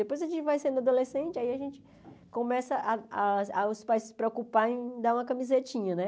Depois a gente vai sendo adolescente, aí a gente começa ah ah ah os pais se preocupar em dar uma camisetinha, né?